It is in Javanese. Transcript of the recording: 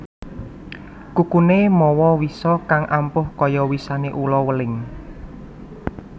Kukuné mawa wisa kang ampuh kaya wisané ula weling